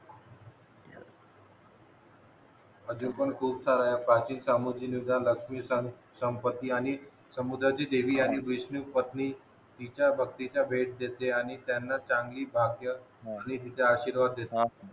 अजून पण खूप साऱ्या प्राचीन सामग्री नुसार लक्ष्मी सॅम संपत्ती आणि समुद्राची देवी आणि वैष्णवी पत्नी तिचा भक्तीचा भेट घेते आणि त्यांना चांगली भारतीय आणि तिचा आशीर्वाद देते